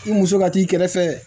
I muso ka t'i kɛrɛ fɛ